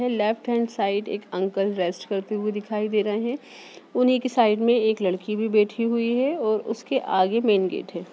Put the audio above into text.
Left hand side एक uncle rest करते हुए दिखाई दे रहे हैं। उन्हीं के साइड में एक लड़की भी बैठी हुई है और उसके आगे मेन गेट है ।